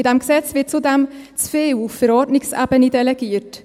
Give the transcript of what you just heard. In diesem Gesetz wird zudem zu viel auf Verordnungsebene delegiert.